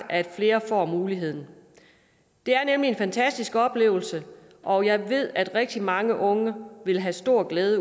at flere får muligheden det er nemlig en fantastisk oplevelse og jeg ved at rigtig mange unge vil have stor glæde